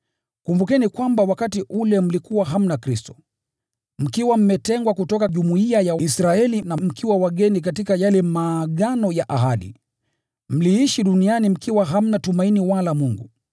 kumbukeni kwamba wakati ule mlikuwa mbali na Kristo, mkiwa mmetengwa kutoka jumuiya ya Israeli, na mkiwa wageni katika yale maagano ya ahadi, nanyi mkiwa hamna tumaini wala Mungu duniani.